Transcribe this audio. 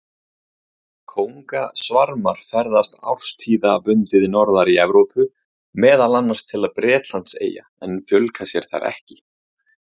Kóngasvarmar ferðast árstíðabundið norðar í Evrópu, meðal annars til Bretlandseyja, en fjölga sér þar ekki.